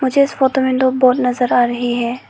मुझे इस फोटो में दो बोट नजर आ रही है।